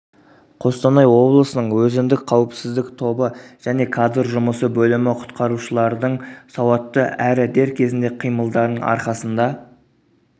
қостанай облысының өзіндік қауіпсіздік тобы және кадр жұмысы бөлімі құтқарушылардың сауатты әрі дер кезіндегі қимылдарының арқасында